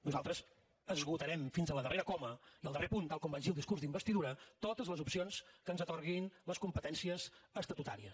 nosaltres esgotarem fins a la darrera coma i el darrer punt tal com vaig dir al discurs d’investidura totes les opcions que ens atorguin les competències estatutàries